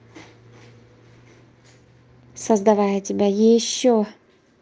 создавая тебя ещё